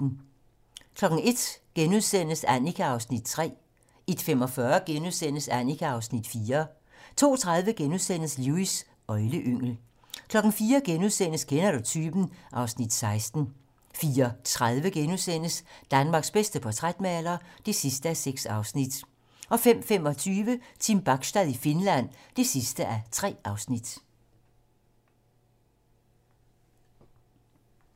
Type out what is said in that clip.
01:00: Annika (Afs. 3)* 01:45: Annika (Afs. 4)* 02:30: Lewis: Øgleyngel * 04:00: Kender du typen? (Afs. 16)* 04:30: Danmarks bedste portrætmaler (6:6)* 05:25: Team Bachstad i Finland (3:3)